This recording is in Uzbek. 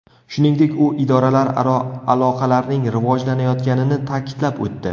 Shuningdek, u idoralararo aloqalarning rivojlanayotganini ta’kidlab o‘tdi.